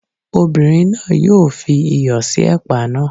Obinrin náà yóò fi iyọ̀ sí ẹ̀pà náà.